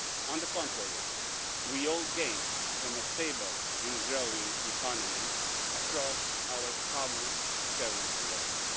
on the contrary, we all gain from a stable and growing economy across our common currency area.